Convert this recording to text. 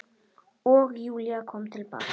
Og Júlía kom til baka.